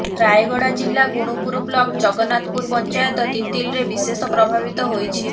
ରାୟଗଡ଼ା ଜିଲ୍ଳା ଗୁଣୁପୁର ବ୍ଲକ ଜଗନ୍ନାଥପୁର ପଞ୍ଚାୟତ ତିତଲିରେ ବିଶେଷ ପ୍ରଭାବିତ ହୋଇଛି